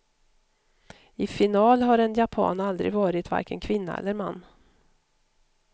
I final har en japan aldrig varit, varken kvinna eller man.